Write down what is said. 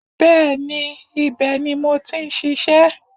Bẹ́ẹ̀ni, ibẹ̀ ni mo ti n ṣiṣẹ́